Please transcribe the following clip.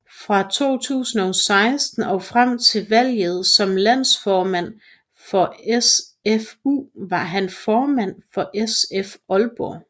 Fra 2016 og frem til valget som landsformand for SFU var han formand for SF Aalborg